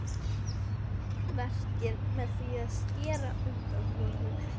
spurði Júlía hissa, enn úti á draumkenndri þekju.